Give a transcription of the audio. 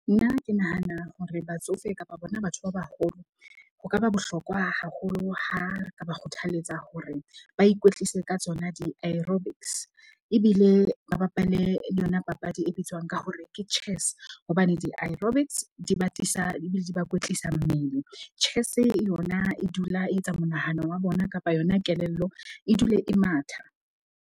Nna ke nahana hore batsofe kapa bona batho ba baholo, ho ka ba bohlokwa haholo ha ka ba kgothaletsa hore ba ikwetlise ka tsona di-aerobics. Ebile ba bapale yona papadi e bitswang ka hore ke Chess. Hobane di-aerobics di batisa ebile di ba kwetlisa mmele. Chess-e yona e dula e etsa monahano wa bona kapa yona kelello e dule e matha.